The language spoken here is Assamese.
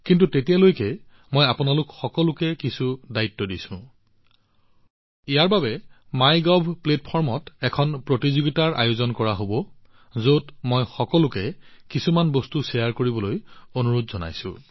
কিন্তু তেতিয়ালৈকে মই আপোনালোক সকলোকে কিছু কাম কৰাৰ দায়িত্ব দিছো ইয়াৰ বাবে মাইগভৰ মঞ্চত এখন প্ৰতিযোগিতাৰ আয়োজন কৰা হব যত মই জনতাক কিছুমান বস্তু ভাগবতৰা কৰিবলৈ অনুৰোধ জনাইছো